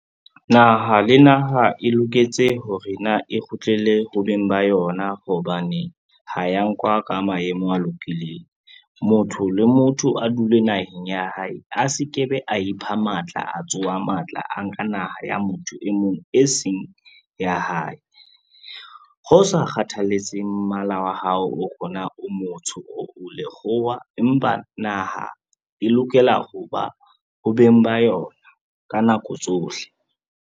Naha le naha e loketse hore na e kgutlele ho beng ba yona hobane, ha ya nkuwa ka maemo a lokileng. Motho le motho a dule naheng ya hae, a se ke be a ipha matla, a tsoha matla a nka naha ya motho e mong e seng ya hae. Ho sa kgathalatsehe mmala wa hao, ho re na o motsho or o lekgowa, empa naha e lokela ho ba ho beng ba yona ka nako tsohle.